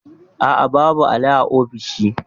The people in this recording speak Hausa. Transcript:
A'a, babu alli a ofishin